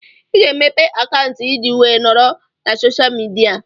Ị ga-emepe akaụntụ ị ji wee nọrọ na soshal midia